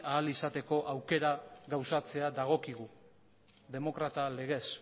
ahal izateko aukera gauzatzea dagokigu demokrata legez